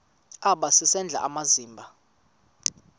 aba sisidl amazimba